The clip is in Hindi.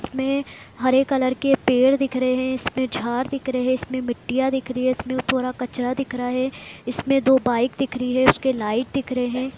इसमे हरे कलर के पेड़ दिख रहे है इसमें झाड़ दिख रहे है इसमे मिट्टियां दिख रही है इसमें थोड़ा कचरा दिख रहा है इसमे दो बाइक दिख रही है उसके लाइट दिख रहे है।